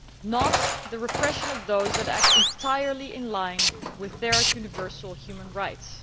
not the repression of those that act entirely in line with their universal human rights.